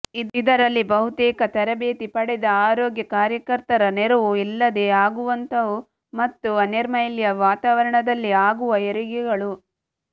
ಇದರಲ್ಲಿ ಬಹುತೇಕ ತರಬೇತಿ ಪಡೆದ ಆರೋಗ್ಯ ಕಾರ್ಯಕರ್ತರ ನೆರವು ಇಲ್ಲದೇ ಆಗುವಂಥವು ಮತ್ತು ಅನೈರ್ಮಲ್ಯ ವಾತಾವರಣದಲ್ಲಿ ಆಗುವ ಹೆರಿಗೆಗಳು